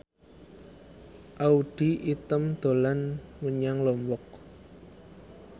Audy Item dolan menyang Lombok